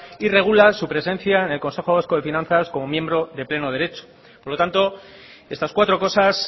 y regula su presencia en el consejo vasco de finanzas como miembro de pleno derecho por lo tanto estas cuatro cosas